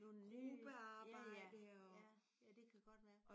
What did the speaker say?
Nogle nye ja ja. Ja ja det kan godt være